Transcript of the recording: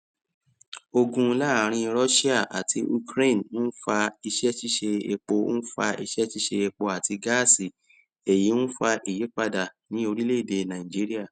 ogun laarin russia ati ukraine nfa iṣẹṣiṣe epo nfa iṣẹṣiṣe epo ati gaasi eyi nfa iyipada ni orilede naijiria